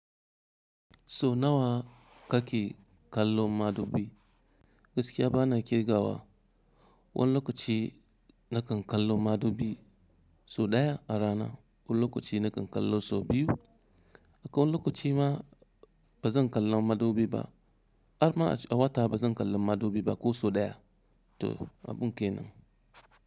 So nawa kake kallon madubi? Gaskiya bana kirgawa. Wani lokaci nakan kallo madubi so ɗaya a rana, wani lokaci nakan kallo so biyu, akwai lokaci ma bazan kalla madubi ba, har ma a wata bazan kalla madubi ba ko so ɗaya. To, abun kenan.